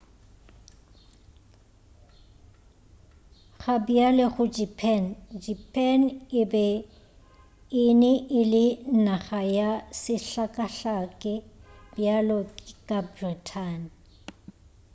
gabjale go japan japan e be ele naga ya sehlakahlake bjalo ka britain